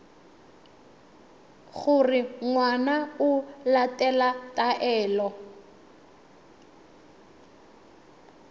gore ngwana o latela taelo